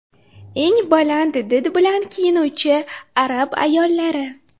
Eng baland did bilan kiyinuvchi arab ayollari .